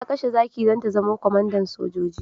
Ta kashe zaki don ta zama kwamandan sojoji.